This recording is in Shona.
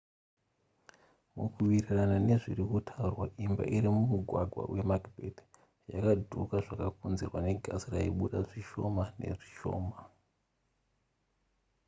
mukuwirirana nezviri kutaurwa imba iri mumugwagwa wemacbeth yakadhuuka zvakakonzerwa negasi raibuda zvishona nezvishoma